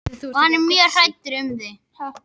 Og hann er mjög hræddur um þig.